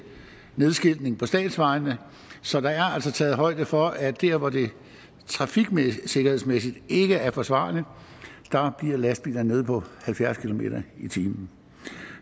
nedskiltning på statsvejene så der er altså taget højde for at der hvor det trafiksikkerhedsmæssigt ikke er forsvarligt bliver lastbilerne nede på halvfjerds kilometer per time